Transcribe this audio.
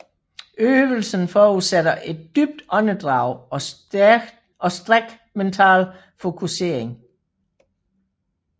Øvelsen forudsætter et dybt åndedrag og stræk mental fokusering